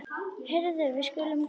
Heyrðu, við skulum koma.